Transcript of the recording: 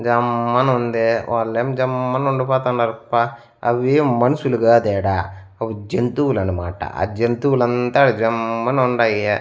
జమ్మని ఉందే వాళ్లేమి జమ్మని ఉండిపోతాన్నారప్పా అవేం మనుషులు కాదు యాడా ఒక జంతువులనమాట ఆ జంతువులంతా ఆడ జమ్మని ఉండాయె.